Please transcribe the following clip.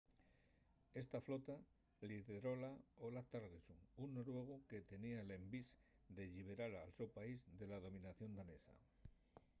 esta flota lideróla olaf trygvasson un noruegu que tenía l'envís de lliberar el so país de la dominación danesa